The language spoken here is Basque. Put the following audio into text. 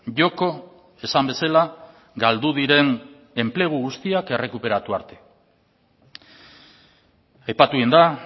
joko esan bezala galdu diren enplegu guztiak errekuperatu arte aipatu egin da